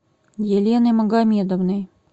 еленой магомедовной